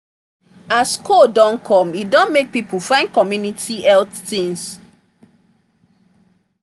as cold don come e don make people find community health things